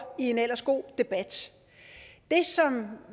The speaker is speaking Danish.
i en ellers god debat det som